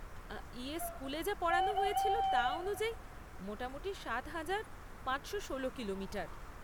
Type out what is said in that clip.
ইয়ে, স্কুলে যা পড়ানো হয়েছিল, তা অনুযায়ী, মোটামুটি সাত হাজার পাঁচশো ষোলো কিলোমিটার?